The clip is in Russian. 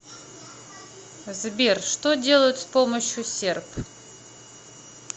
сбер что делают с помощью серп